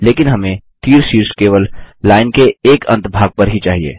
लेकिन हमें तीर शीर्ष केवल लाइन के एक अंत भाग पर ही चाहिए